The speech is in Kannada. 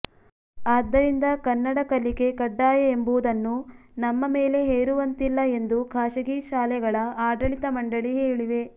ಆದ್ದರಿಂದ ಕನ್ನಡ ಕಲಿಕೆ ಕಡ್ಡಾಯ ಎಂಬುದನ್ನು ನಮ್ಮ ಮೇಲೆ ಹೇರುವಂತಿಲ್ಲ ಎಂದು ಖಾಸಗಿ ಶಾಲೆಗಳ ಆಡಳಿತ ಮಂಡಳಿ ಹೇಳಿವೆ